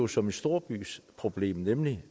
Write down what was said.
som et storbyproblem nemlig